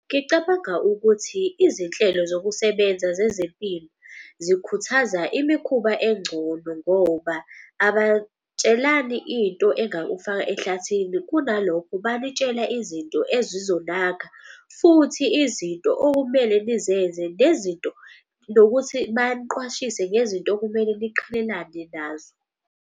Ngicabanga ukuthi izinhlelo zokusebenza zezempilo zikhuthaza imikhuba engcono ngoba into engakufaka ehlathini. Kunalokho banitshela izinto ezizonakha futhi izinto okumele nizenze, nokuthi baqwashiswe ngezinto okumele niqhelelane nazo.